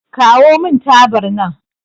Kawo mun tabar nan